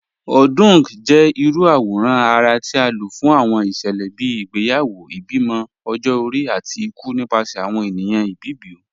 Odung jẹ irú awòrán ara ti a ló fún awọn iṣẹlẹ bíi ìgbéyàwó, ìbímọ, ọ̀jọ-ọ̀ri, àti ìkù nípasẹ̀ awọn ènìyàn Ìbibio.